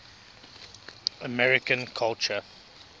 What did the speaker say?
american culture